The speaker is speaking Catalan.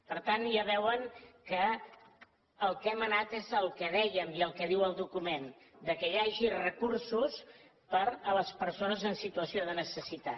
per tant ja veuen que al que hem anat és al que dèiem i al que diu el document que hi hagi recursos per a les persones en situació de necessitat